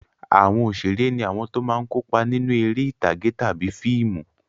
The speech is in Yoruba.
Àwọn òṣèré ní àwọn tó máa ń kópa nínú eré ìtàgé tàbí fíìmù.